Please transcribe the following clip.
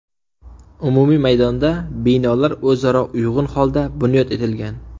Umumiy maydonda binolar o‘zaro uyg‘un holda bunyod etilgan.